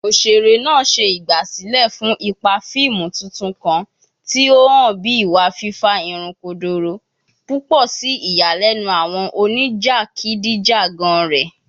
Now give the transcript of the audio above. Oṣere naa ṣe igbasilẹ fun ipa fiimu titun kan, ti o han bi iwa fifa irun kodoro, pupọ si iyalenu awọn onijakidijagan rẹ.